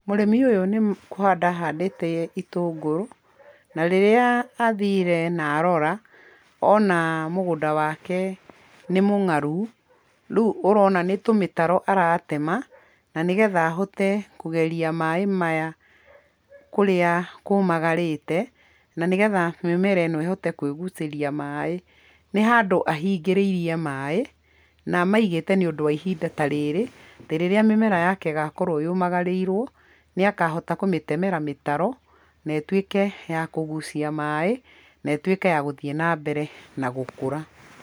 Mũrĩmi ũyũ nĩ kũhanda ahandĩte itũngũrũ na rĩrĩa athire na arora ona mũgũnda wake nĩ mũng'aru rĩu ũrona nĩ tũmĩtaro aratema na nĩ getha ahote kũgeria maaĩ maya kũrĩa kũmagarĩte, na nĩ getha mĩmera ĩno ĩhote kũĩgucĩria maaĩ. Nĩ handũ ahingĩrĩirie maaĩ na amaigĩte nĩ ũndũ wa ihinda ta rĩrĩ, atĩ rĩrĩa mĩmera yake ĩgakorwo yũmagarĩirwo, nĩ akahota kũmĩtemera mĩtaro na ĩtuĩke ya kũgucia maaĩ na ĩtuĩke ya gũthiĩ na mbere na gũkũra.